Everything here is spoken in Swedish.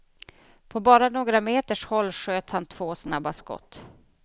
På bara några meters håll sköt han två snabba skott.